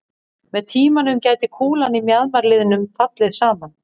Með tímanum gæti kúlan í mjaðmarliðnum fallið saman.